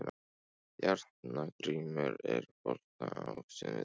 Járngrímur, er bolti á sunnudaginn?